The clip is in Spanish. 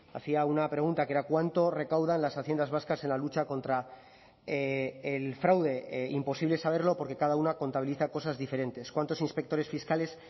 hacía una pregunta que era cuánto recaudan las haciendas vascas en la lucha contra el fraude imposible saberlo porque cada una contabiliza cosas diferentes cuántos inspectores fiscales